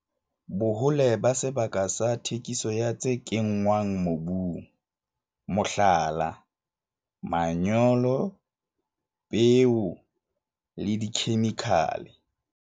Bohole ba sebaka sa thekiso ya tse kenngwang mobung, mohlala, manyolo, peo le dikhemikhale.